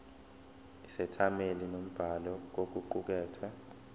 isethameli nombhali kokuqukethwe